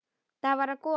Það var gola.